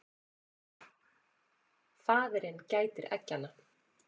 Faðirinn gætir eggjanna.